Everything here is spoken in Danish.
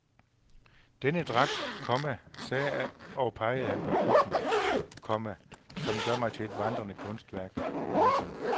Denne dragt, komma sagde han og pegede på kutten, komma gør mig til et vandrende kunstværk. punktum